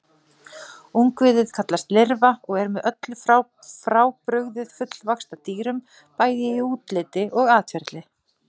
Ungviðið kallast lirfa og er með öllu frábrugðið fullvaxta dýrum, bæði í útliti og atferli.